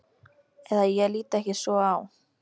Eða ég lít ekki svo á.